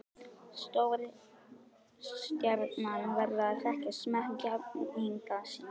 Stórstjarna verður að þekkja smekk jafningja sinna.